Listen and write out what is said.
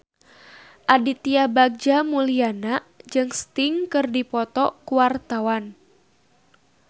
Aditya Bagja Mulyana jeung Sting keur dipoto ku wartawan